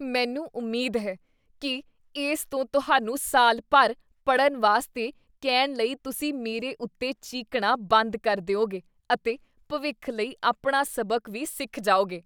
ਮੈਨੂੰ ਉਮੀਦ ਹੈ ਕੀ ਇਸ ਤੋਂ ਤੁਹਾਨੂੰ ਸਾਲ ਭਰ ਪੜ੍ਹਨ ਵਾਸਤੇ ਕਹਿਣ ਲਈ ਤੁਸੀਂ ਮੇਰੇ ਉੱਤੇ ਚੀਕਣਾ ਬੰਦ ਕਰ ਦਿਉਗੇ ਅਤੇ ਭਵਿੱਖ ਲਈ ਆਪਣਾ ਸਬਕ ਵੀ ਸਿੱਖ ਜਾਓਗੇ।